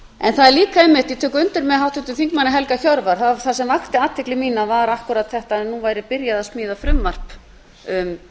en það er líka einmitt ég tek undir með háttvirtum þingmanni helga hjörvar það sem vakti athygli mína var akkúrat þetta að nú væri byrjað að smíða frumvarp um